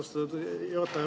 Austatud juhataja!